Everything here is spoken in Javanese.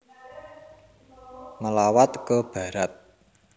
Melawat ke Barat